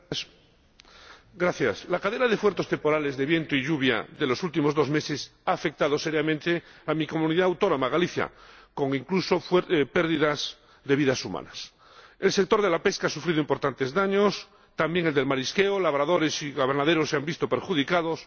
Señor Presidente, la cadena de fuertes temporales de viento y lluvia de los últimos dos meses ha afectado seriamente a mi Comunidad Autónoma, Galicia, incluso con pérdida de vidas humanas. El sector de la pesca ha sufrido importantes daños, también el del marisqueo labradores y ganaderos se han visto perjudicados